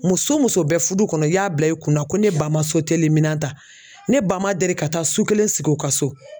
Muso o muso bɛ fudu kɔnɔ i y'a bila i kunna ko ne ba ma ta ne ba ma deli ka taa su kelen sigi u ka so.